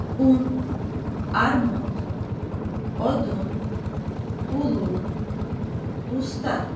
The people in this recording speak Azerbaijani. Un, armud, odun, ulu, usta.